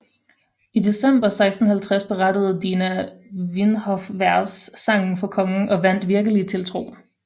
I december 1650 berettede Dina Vinhofvers sagen for kongen og vandt virkelig tiltro